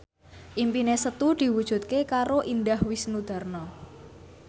impine Setu diwujudke karo Indah Wisnuwardana